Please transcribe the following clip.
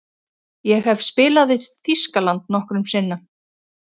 Ég hef spilað við Þýskaland nokkrum sinnum.